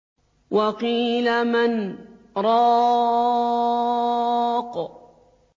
وَقِيلَ مَنْ ۜ رَاقٍ